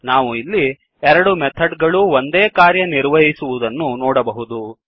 ನಾವು ಇಲ್ಲಿ ಎರಡು ಮೆಥಡ್ ಗಳೂ ಒಂದೇ ಕಾರ್ಯ ನಿರ್ವಹಿಸುವುದನ್ನು ನೋಡಬಹುದು